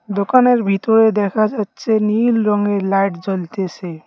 দোকানের ভিতরে দেখা যাচ্ছে নীল রংয়ের লাইট জ্বলতেছে।